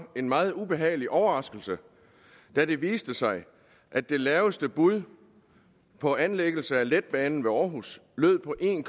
en meget ubehagelig overraskelse da det viste sig at det laveste bud på anlæggelse af letbanen ved aarhus lød på en